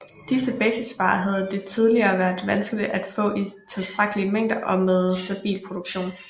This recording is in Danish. Disse basisvarer havde det tidligere været vanskeligt at få i tilstrækkelige mængder og med stabil produktion